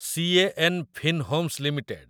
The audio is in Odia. ସି.ଏ.ଏନ୍‌. Fin Homes limited